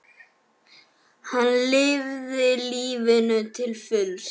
Hann lifði lífinu til fulls.